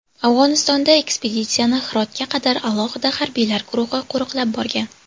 Afg‘onistonda ekspeditsiyani Hirotga qadar alohida harbiylar guruhi qo‘riqlab borgan.